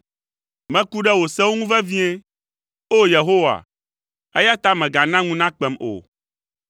Meku ɖe wò sewo ŋu vevie, o Yehowa, eya ta mègana ŋu nakpem o.